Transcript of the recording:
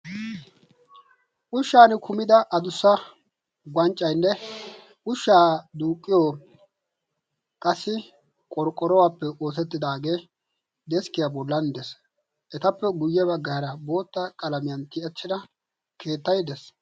Ushshan kumida adussa wanccaynne ushshaa duuqqiyo qassi qorqqorowaappe ootettidaagee deeskkiyaa bolan dees etappe guyye bagga hara bootta qalamiyan tiyachchida keettay dees.